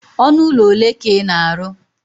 ọnụ ụlọ ole ka ị na-arụ?